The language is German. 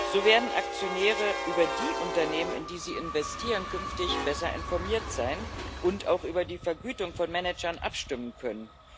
So werden Aktionäre über die Unternehmen, in die sie investieren, künftig besser informiert sein und auch über die Vergütung von Managern abstimmen können.